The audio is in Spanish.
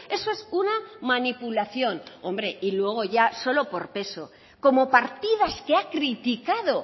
eso es una manipulación hombre y luego ya solo por peso como partidas que ha criticado